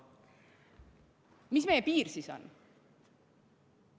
Mis meie piir siis on?